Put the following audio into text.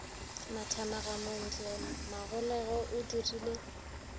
mathamaga montle magolego o dirile